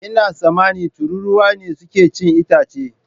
Ina tsammanin tururuwa ne suke cin itace.